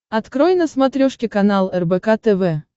открой на смотрешке канал рбк тв